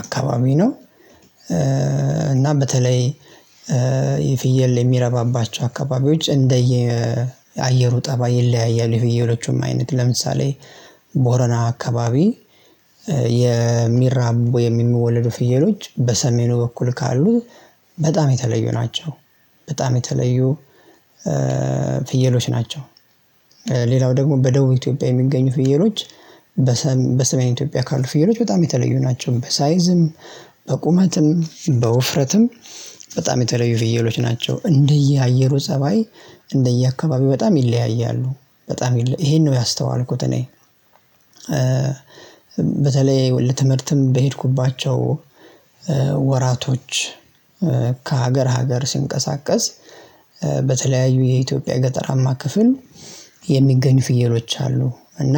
አካባቢ ነው። እና በተለይ የፍየል የሚረባባቸው አካባቢዎች እንደየ አየሩ ጠባይ ይለያያል የፍየሎቹም አይነት ለምሳሌ ቦረና አካባቢ የሚራቡ የሚወለዱ ፍየሎች በሰሜኑ በኩል ካሉት በጣም የተለዩ ናቸው። በጣም የተለዩ ፍየሎች ናቸው። ሌላው ደግሞ በደቡብ ኢትዮጵያ የሚገኙ ፍየሎች በሰሜን ኢትዮጵያ ካሉ ፍየሎች በጣም የተለዩ ናቸው። በሳይዝም በቁመትም በውፍረትም በጣም የተለዩ ፍየሎች ናቸው እንደየአየሩ ፀባይ እንደየአካባቢው በጣም ይለያያሉ በጣም ይለያያሉ ይሄን ነው ያስተዋልኩት እኔ። በተለይ ለትምህርትም በሄድኩባቸው ወራቶች ከሀገር ሀገር ስንቀሳቀስ በተለያዩ የኢትዮጵያ ገጠራማ ክፍል የሚገኝ ፍየሎች አሉ። እና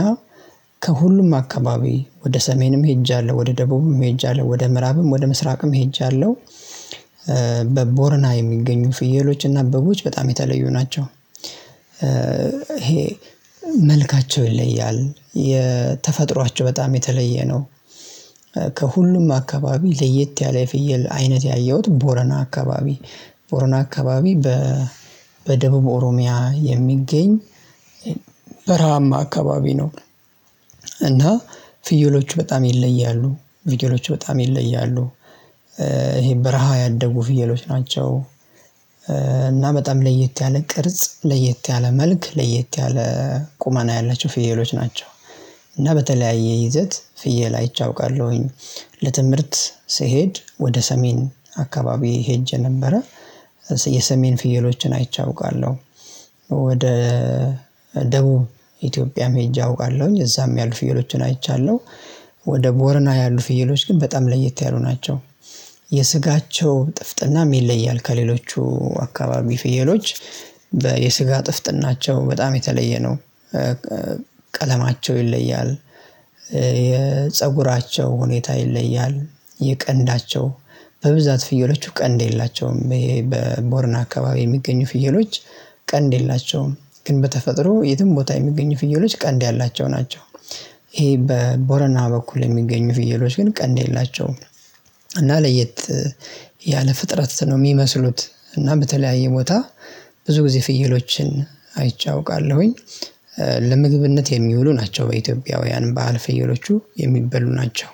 ከሁሉም አካባቢ ወደ ሰሜንም ሄጃለሁ ወደ ደቡብም ሄጃለሁ ወደ ምዕራብም ወደ ምስራቅም ሄጃለሁ። በቦርና የሚገኙ ፍየሎችና በጎች በጣም የተለዩ ናቸው ይሄ መልካቸው ይለያል የተፈጥሯቸው በጣም የተለየ ነው። ከሁሉም አካባቢ ለየት ያለ የፍየል አይነት ያየሁት ቦረና አካባቢ ቦረና አካባቢ በደቡብ ኦሮሚያ የሚገኝ በረሃማ አካባቢ ነው። እና ፍየሎቹ በጣም ይለያሉ ፍየሎቹ በጣም ይለያሉ ይሄ በረሃ ያደጉ ፍየሎች ናቸው። እና በጣም ለየት ያለ ቅርጽ ለየት ያለ መልክ ለየት ያለ ቁመና ያላቸው ፍየሎች ናቸው። እና በተለያየ ይዘት ፍየል አይቼ አውቃለሁኝ ለትምህርት ስሄድ ወደ ሰሜን አካባቢ ሄጄ ነበረ። የሰሜን ፍየሎችን አይቼ አውቃለሁ። ወደ ደቡብ ኢትዮጵያም ሄጄ አውቃለሁኝ እዛም ያሉ ፍየሎቹን አይቻለሁ። ወደ ቦርና ያሉ ፍየሎች ግን በጣም ለየት ያሉ ናቸው። የስጋቸው ጥፍጥና ይለያል ከሌሎቹ አካባቢ ፍየሎች ጥፍጥናቸው በጣም የተለየ ነው። ቀለማቸው ይለያል። የፀጉራቸው ሁኔታ ይለያል። የቀንዳቸው በብዛት ፍየሎቹ ቀንድ የላቸውም በቦርና አካባቢ የሚገኙ ፍየሎች ቀንድ የላቸውም። ግን በተፈጥሮ የትም ቦታ የሚገኙ ፍየሎች ቀንድ ያላቸው ናቸው። ይሄ በቦረና በኩል የሚገኙ ፍየሎች ግን ቀንድ የላቸውም። ለየት ያለ ፍጥረት ነው የሚመስሉት። እና በተለያየ ቦታ ብዙ ጊዜ ፍየሎችን አይቻውቃለሁኝ። ለምግብነት የሚውሉ ናቸው በኢትዮጵያውያን በዓል ፍየሎቹ የሚበሉ ናቸው።